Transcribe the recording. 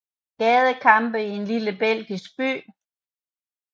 Gadekampe i en lille belgisk by